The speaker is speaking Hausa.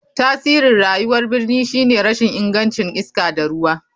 Tasirin rayuwar birni shine rashin ingancin iska da ruwa.